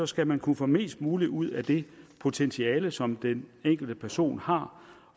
skal man kunne få mest mulig ud af det potentiale som den enkelte person har